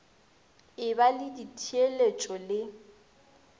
e ba le ditheeletšo le